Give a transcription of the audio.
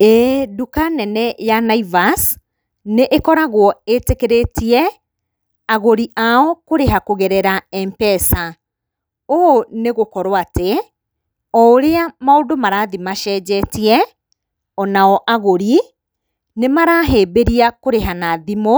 Ĩĩ nduka nene ya Naivas nĩ ĩkoragwo ĩtĩkĩrĩtie agũri ao kũrĩha kũgerera Mpesa. Ũũ nĩgũkorwo atĩ, o ũrĩa maũndũ marathiĩ macenjetie, onao agũri nĩmarahĩmbĩria kũrĩha na thimũ,